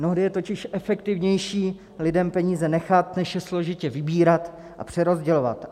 Mnohdy je totiž efektivnější lidem peníze nechat, než je složitě vybírat a přerozdělovat.